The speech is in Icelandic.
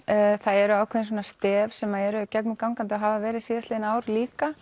það eru ákveðin stef sem eru gegnumgangandi og hafa verið síðastliðið ár líka